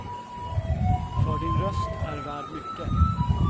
För din röst är värd mycket.